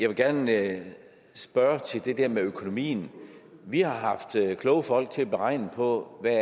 vil gerne spørge til det der med økonomien vi har haft kloge folk til at regne på hvad